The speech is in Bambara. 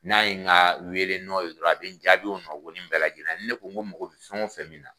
N'a ye nga wele nɔ ye dɔrɔn a be n jaabi o nɔ goni bɛɛ lajɛlenna ni ne ko ko n magɔ be fɛn o fɛn min na